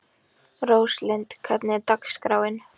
Róslind, hvernig er dagskráin?